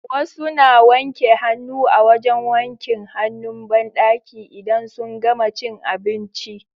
Wasu na wanke hannu a wajan wankin hanun banɗaki idan sun gama cin abinci